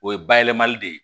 O ye bayɛlɛmali de ye